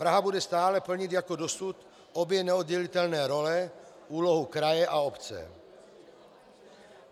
Praha bude stále plnit jako dosud obě neoddělitelné role, úlohu kraje a obce.